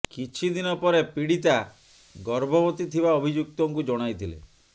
କିଛି ଦିନ ପରେ ପୀଡ଼ିତା ଗର୍ଭବତୀ ଥିବା ଅଭିଯୁକ୍ତଙ୍କୁ ଜଣାଇଥିଲେ